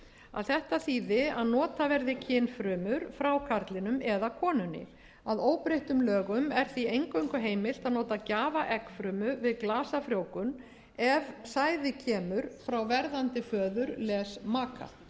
að þetta þýði að nota verði kynfrumur frá karlinum eða konunni að óbreyttum lögum er því eingöngu heimilt að nota gjafaeggfrumu við glasafrjóvgun ef sæði kemur frá verðandi föður